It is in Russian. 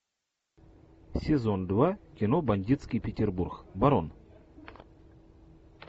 сезон два кино бандитский петербург барон